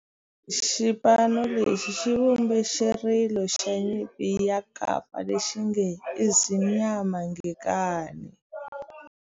Xipano lexi xi vumbe xirilo xa nyimpi xa kampa lexi nge 'Ezimnyama Ngenkani'.